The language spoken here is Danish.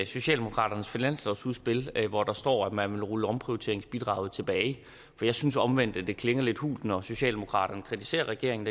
socialdemokratiets finanslovsudspil hvor der står at man vil rulle omprioriteringsbidraget tilbage for jeg synes omvendt at det klinger lidt hult når socialdemokratiet kritiserer regeringen